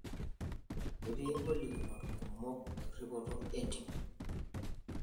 Ketii ngolikinoto kumok erripoto oo ntimi